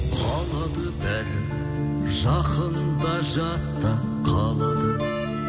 қалады бәрі жақын да жат та қалады